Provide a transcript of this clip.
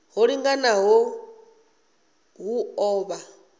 ho linganaho hu ḓo vha